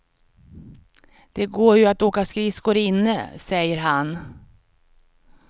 Det går ju att åka skridskor inne, säger han.